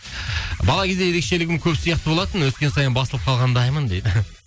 бала кезде ерекшелігім көп сияқты болатын өскен сайын басылып қалғандаймын дейді